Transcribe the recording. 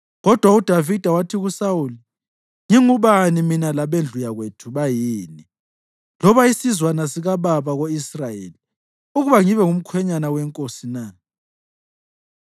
Kodwa uDavida wathi kuSawuli, “Ngingubani mina labendlu yakwethu bayini, loba isizwana sikababa ko-Israyeli, ukuba ngibe ngumkhwenyana wenkosi na?”